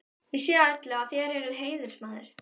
Ég sé á öllu, að þér eruð heiðursmaður.